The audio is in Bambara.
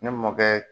Ne mɔkɛ